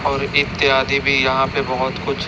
और इत्यादि भी यहां पे बहोत कुछ--